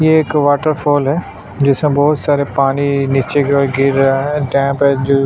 ये एक waterfall है जिसमें बोहत सारे पानी नीचे की ओर गिर रहा है डैम हैं जो--